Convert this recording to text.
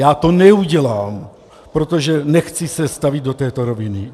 Já to neudělám, protože se nechci stavět do této roviny.